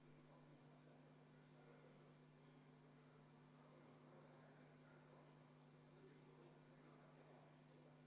Õige, fraktsioon saab võtta kuni 10 minutit, nii et 20 minutit ei anna, küll aga annan 10 minutit vaheaega enne tagasilükkamise ettepaneku hääletamist.